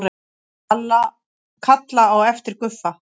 Kalla á eftir Guffa.